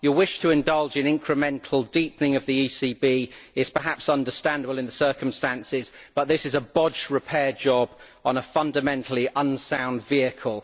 Your wish to indulge in incremental deepening of the ECB is perhaps understandable in the circumstances, but this is a bodged repair job on a fundamentally unsound vehicle.